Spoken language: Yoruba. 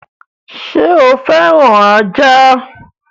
Sọ fẹ́ràn ajá?